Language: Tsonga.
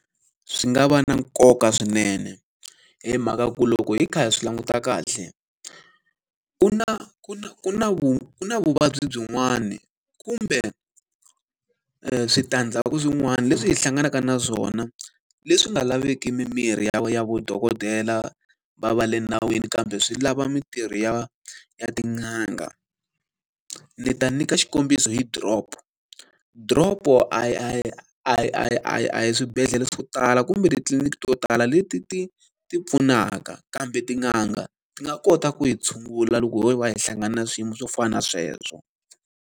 Swi nga va na nkoka swinene. Hi mhaka ku loko hi kha hi swi languta kahle, ku na ku na ku na ku na vuvabyi byin'wana kumbe switandzhaku swin'wana leswi hi hlanganaka na swona, leswi nga laveki mimirhi ya ya vudokodela va va le nawini kambe swi lava mintirho ya ya tin'anga. Ni ta nyika xikombiso hi drop. Drip-o a hi a hi a hi a hi a hi a hi swibedhlele swo tala kumbe titliliniki to tala leti ti ti pfunaka, kambe tin'anga ti nga kota ku yi tshungula loko ho va hi hlangana na swiyimo swo fana na sweswo.